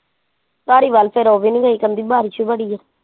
ਧਾਰੀਵਾਲ ਫਿਰ ਉਹ ਵੀ ਨੀ ਗਈ ਕਹਿੰਦੀ ਬਾਰਿਸ਼ ਬੜੀ ਐ।